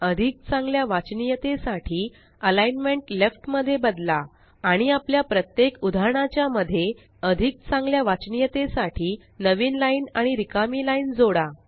अधिक चांगल्या वाचनियतेसाठी अलाइनमेंट लेफ्ट मध्ये बदला आणि आपल्या प्रत्येक उदाहरणाच्या मध्ये अधिक चांगल्या वाचनियतेसाठी नवीन लाइन आणि रिकामी लाइन जोडा